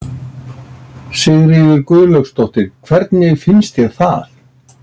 Sigríður Guðlaugsdóttir: Hvernig finnst þér það?